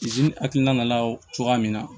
zenekilina nana cogoya min na